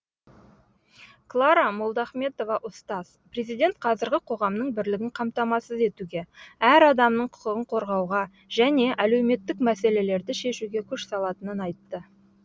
клара молдахметова ұстаз президент қазіргі қоғамның бірлігін қамтамасыз етуге әр адамның құқығын қорғауға және әлеуметтік мәселелерді шешуге күш салатынын айтты